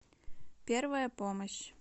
первая помощь